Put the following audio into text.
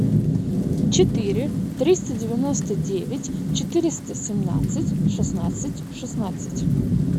четыре триста девяносто девять четыреста семнадцать шестнадцать шестнадцать